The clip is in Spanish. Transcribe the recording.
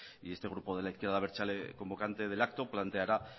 y este grupo de la izquierda abertzale convocante del acto planteará